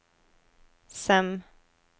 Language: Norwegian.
Sem